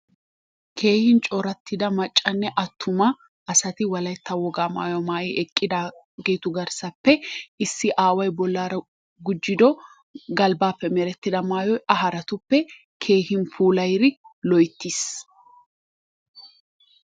Keehin corattida maccane attuma asati wolaytta wogaa mayuwaa mayi eqqidaageetu garsaappe issi aaway bollaara gujjido galbbaappe merettida maayoyA haraatuppe keehin puulayid loyttis.